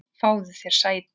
Fáðu þér sæti!